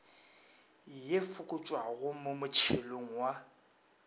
ye fokotšwago mo motšhelong wa